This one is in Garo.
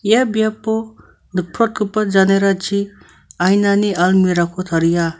ia biapo nikprotgipa janerachi ainani almira ko taria.